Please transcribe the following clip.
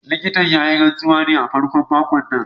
Likitan ya yi rantsuwar ne a farkon makon nan